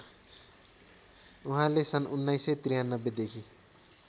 उहाँले सन् १९९३ देखि